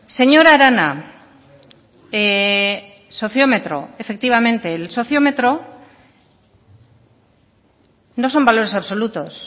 señora arana sociómetro efectivamente el sociómetro no son valores absolutos